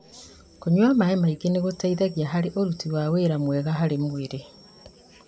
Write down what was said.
Kũnyua maĩ maingĩ nĩgũteithagia harĩ ũrutĩ wa wĩra mwega harĩ mwĩrĩ